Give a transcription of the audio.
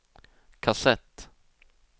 kassett